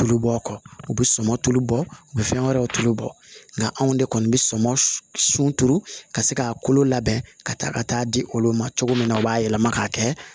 Tulu bɔ a kɔ u bɛ sɔmɔ tulu bɔ u bɛ fɛn wɛrɛw tulu bɔ nka anw de kɔni bɛ sɔmɔnɔ sunturu ka se k'a kolo labɛn ka taa ka taa di olu ma cogo min na u b'a yɛlɛma k'a kɛ